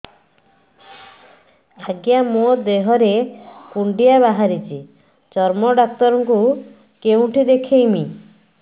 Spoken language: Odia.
ଆଜ୍ଞା ମୋ ଦେହ ରେ କୁଣ୍ଡିଆ ବାହାରିଛି ଚର୍ମ ଡାକ୍ତର ଙ୍କୁ କେଉଁଠି ଦେଖେଇମି